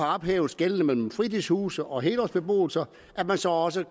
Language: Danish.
ophævet skellet mellem fritidshuse og helårsbeboelse at man så også